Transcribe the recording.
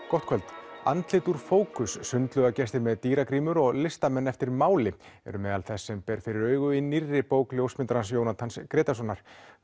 gott kvöld andlit úr fókus sundlaugagestir með dýragrímur og listamenn eftir máli eru meðal þess sem ber fyrir augu í nýrri bók ljósmyndarans Jónatans Grétarssonar